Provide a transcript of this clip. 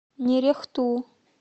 нерехту